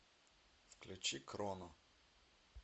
включи кроно